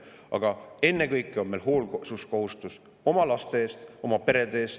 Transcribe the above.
Aga ennekõike on meil täna Eestis täita hoolsuskohustus oma laste ja oma perede ees.